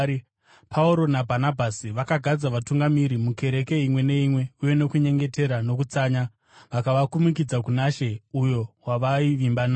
Pauro naBhanabhasi vakagadza vatungamiri mukereke imwe neimwe uye nokunyengetera nokutsanya, vakavakumikidza kuna She, uyo wavaivimba naye.